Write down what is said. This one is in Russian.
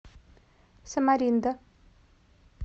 самаринда